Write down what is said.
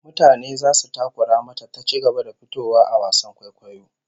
Mutane zasu takura mata ta ci gaba da fitowa a wasan kwaikwayon